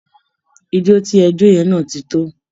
Ijó tí ẹ jó yẹn náà ti tó!